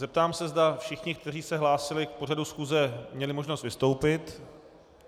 Zeptám se, zda všichni, kteří se hlásili k pořadu schůze, měli možnost vystoupit.